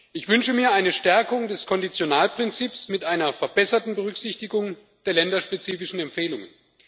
Ich wünsche mir eine Stärkung des Konditionalprinzips mit einer verbesserten Berücksichtigung der länderspezifischen Empfehlungen.